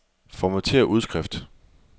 Formatér udskrift.